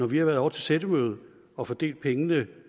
vi har været ovre til sættemøde og fordelt pengene